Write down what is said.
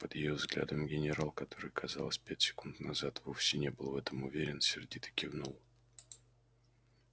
под её взглядом генерал который казалось пять секунд назад вовсе не был в этом уверен сердито кивнул